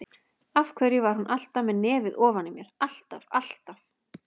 Af hverju var hún alltaf með nefið ofan í mér, alltaf, alltaf.